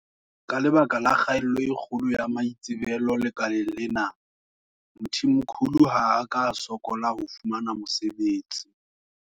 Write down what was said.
Ka lebaka la kgaello e kgolo ya maitsebelo lekaleng lena, Mthimkhulu ha a ka a sokola ho fumana mosebetsi.